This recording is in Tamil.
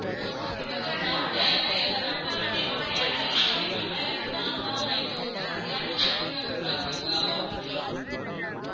அஹ் ma'am எனக்கு ஒரு doubt உ அந்த number வந்து இதுக்கு முன்னாடி யாராது use பண்ணிருக்காங்களா இல்லாட்டா நான்தான் இதுக்கு முன்னாடி யாரும் use பண்ணிருகாங்கன்னு பாக்கறீங்களா கொஞ்சம்